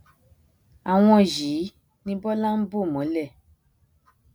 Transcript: àwọn yìí ni bọlá ń bò mọlẹ